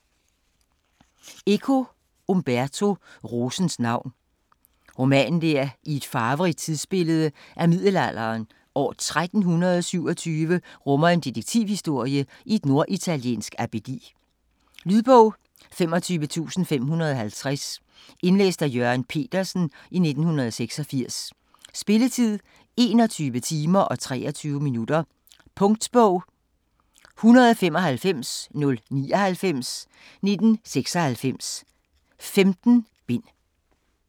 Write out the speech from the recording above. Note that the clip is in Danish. Eco, Umberto: Rosens navn Roman der i et farverigt tidsbillede af middelalderen, år 1327, rummer en detektivhistorie i et norditaliensk abbedi. Lydbog 25550 Indlæst af Jørgen Petersen, 1986. Spilletid: 21 timer, 23 minutter. Punktbog 195099 1996. 15 bind.